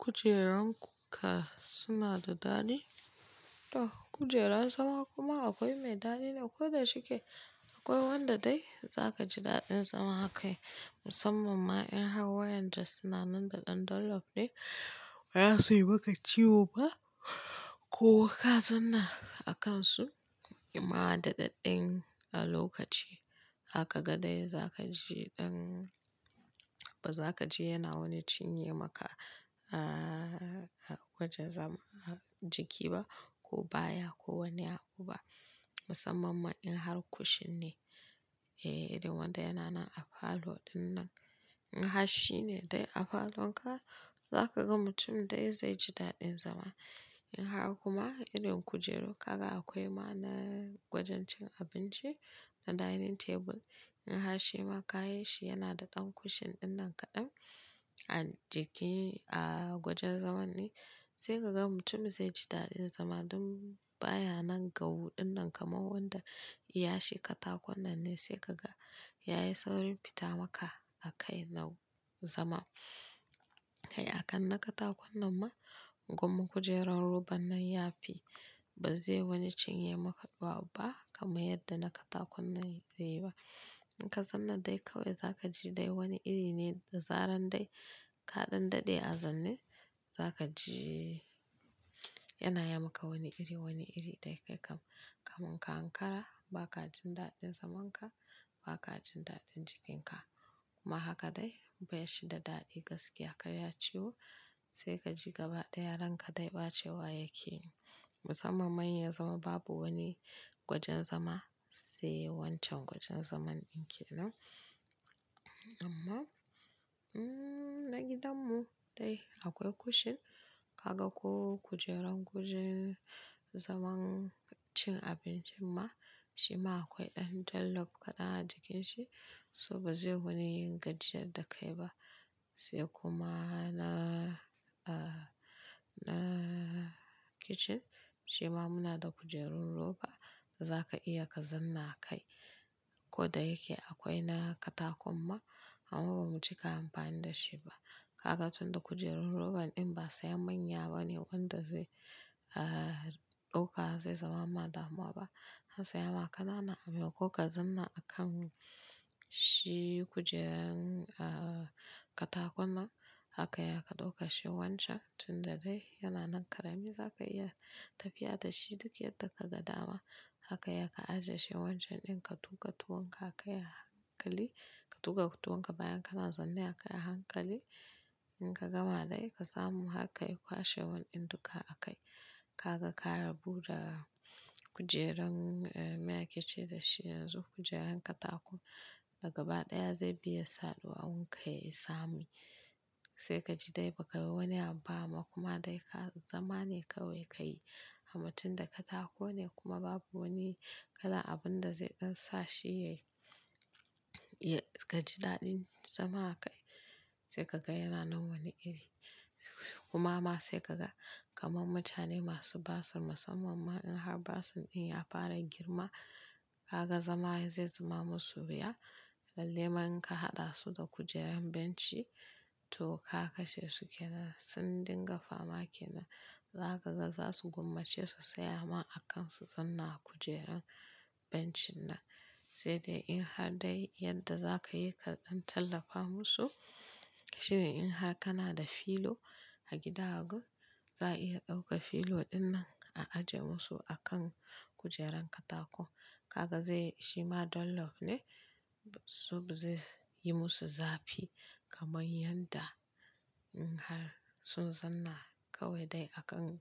Kujeran kuka suna da daɗi? To kujera zama kuma akwai mai daɗine koda shike akwai wanda dai za ka ji daɗin zama a kai. Musamman ma in har wayanda suna nan da ɗan dullaf ne baza sui ma ka ciwo ba ko ka zanna a kansu. Kuma da ɗaɗɗen a lokaci haka gadai za ka ji ɗan ba za ka ji yana wani cinye maka a-a-a-a gwajin zaman jiki ba ko baya ko wani abu ba. Musamman ma in har kushin ne. Ehh, irin wanda yana nan a falo ɗin nan. In har shi ne dai a falonka za ka ga mutum dai zai ji daɗin zama. In har kuma irin kujeru kaga akwai ma na gwajin cin abinci na dining table. In har shi ma ka yi shi yana da ɗan kushin ɗin nan kaɗan a jiki a gwajin zaman ne sai ka ga mutum zai ji daɗin zama ɗon baya nan gau ɗin nan kamar wanda iya shi katakon nan ne sai ka ga ya yi saurin fita maka a kai na zama. Kai akan na katakon nan ma gwamma kujerar roba nan ya fi ba zai wani cinye maka bak ba kamar yadda na katakon nan zai yi ba. In ka zanna dai kawai za ka ji dai wani iri ne da zaran dai ka ɗan daɗe a zanin za ka ji yana yi maka wani iri wani iri dai kai kam kamun ka ankara ba ka jin daɗin zaman ka ba ka jin daɗin jikinka. Kuma haka dai bai shi da daɗi gaskiya kai ya ciwo sai ka ji gaba ɗaya ranka dai ɓacewa yake. Musamman ma inya zama babu wani wajen zama sai wancan wajen zaman ɗin ke nan. Amma, mmh, na gidanmu dai akwai kushin kaga ko kujeran kujin zaman cin abinci ma shi ma akwai ɗan dullaf kaɗan a jikin shi so ba zai wani gajiyar da kai ba. Sai kuma na, ah, na kitchen shi ma muna da kujerar roba da za ka iya ka zanna a kai. Ko da yake akwai na katakon ma amma ba mu cika amfani da shi ba. Kaga tunda kujerun roban din ba sai manya bane wanda zai, ah, dauka zai zama ma damuwa ba. An saya ma ƙanana amma ko ka zanna a kan shi kujeran, ah, katakon nan haka ya ka dauka shi wancan tunda dai yana nan ƙarami za ka iya tafiya da shi duk yadda ka ga dama. Haka ya ka ajiye shi wancan din ka tuka tuwanka a kai a hankali ka tuka tuwanka bayan kana zanne a kai a hankali in ka gama dai ka samu hakka yi kwashe wan ɗin duka a kai. Kaga ka rabu da kujeran, eh, me ake ce da shi yanzu kujeran katakon dagaba ɗaya zai bi yasa duwawun ka yayi tsami. Sai ka ji dai ba ka yi wani abu ba amma kuma dai zama ne kawai ka yi. Amma tun da katako ne kuma babu wani kalan abun da zai ɗan sa shi yayi, ya ka ji daɗin zama a kai sai ka ga yana nan wani iri. Kuma ma sai ka ga kamar mutane masu basir musamman ma in har basir din ya fara girma haka zama zai zama musu wuya. Lallai man inka haɗa su da kujeran benci to ka kashe su ke nan sun dinga fama ke nan. Za ka ga za su gummacce su tsaya ma a kan su zanna a kujeran bencin nan. Sai dai in har dai yadda za ka yi ka ɗan tallafa musu. Shi ne in har kana da filo a gidan ku za a iya ɗauka filo ɗin nan a ajiye musu a kan kujeran katako. Kaga zai shi ma dullaf ne, so ba zai yi musu zafi kamar yadda in har sun zanna kawai dai a kan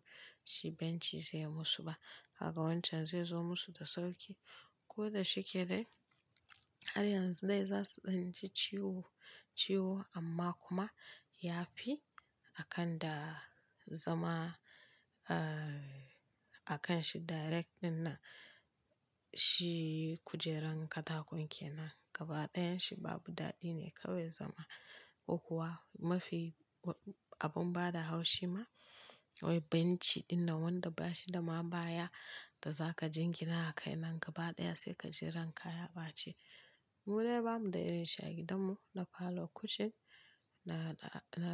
shi benci zai yi musu ba. Haka wancan zai zo musu da sauƙi. Ko da shike dai har yanzu dai za su ɗan ci ciwo, ciwo amma kuma ya fi akan da zama, ah, a kan shi direct ɗin nan shi kujeran katakon ke nan. Gaba ɗayan shi babu daɗi ne kawai zama. Ko kuwa mafi abun bada haushi ma wai benci ɗin nan wanda ba shi da ma baya da za ka jingina a kai nan gaba ɗaya sai ka ji ranka ya ɓaci. Mu dai bamu da irin shi a gidanmu na falo kushin na, na.